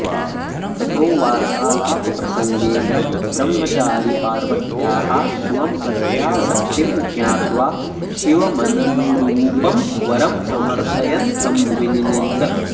ततो वार्तालापप्रसङ्गेन ब्रह्मचारी पार्वत्याः शिवम्प्रत्यासक्तिं ज्ञात्वा शिवमननुरूपं वरं समर्थयन् तं विनिनिन्द